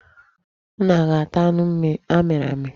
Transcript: Ụnụ aga ata anụ amịrị amị?